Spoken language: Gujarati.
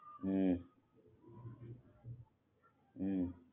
હમ્મ